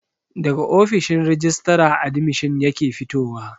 Daga ofishin rajistara admishin yake fitowa